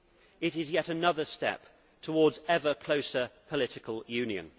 It is yet another step towards ever closer political union.